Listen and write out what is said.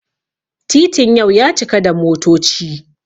titin yau ya cika da motoci